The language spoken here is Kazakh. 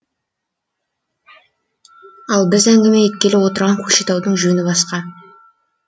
ал біз әңгіме еткелі отырған көкшетаудың жөні басқа